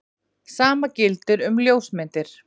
Sama gildir um ljósmyndir.